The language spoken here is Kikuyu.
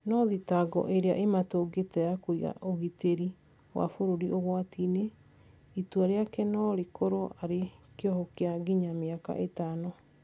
No thitango ĩrĩa ĩmatũngĩte ya kũiga ũgitĩri wa bũrũri ũgwati-inĩ , itua rĩake norĩkorwo arĩ kĩoho kĩa nginya mĩaka ĩtano